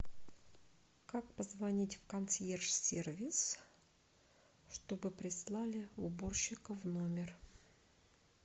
как позвонить в консьерж сервис чтобы прислали уборщика в номер